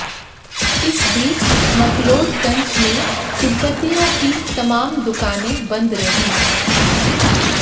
इस बीच मकलोडगंज में तिब्बतियों की तमाम दुकानें बंद रहीं